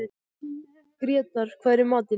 Grétar, hvað er í matinn?